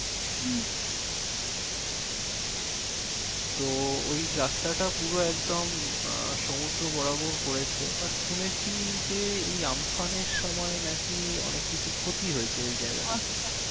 তো ওই রাস্তাটা পুরো একদম আহ সমুদ্র বরাবর করেছে but শুনেছি যে এই আমফান এর সময় নাকি অনেক কিছু ক্ষতি হয়েছে ওই জায়গাটাতে